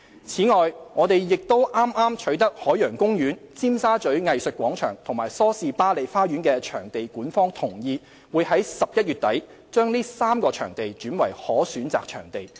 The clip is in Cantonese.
此外，我們亦剛取得海洋公園、尖沙咀藝術廣場和梳士巴利花園的場地管方同意，會在11月底把這3個場地轉為可選擇場地。